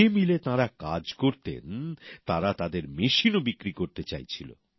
যে মিলে তাঁরা কাজ করতেন তারা তাদের মেশিনও বিক্রি করতে চাইছিল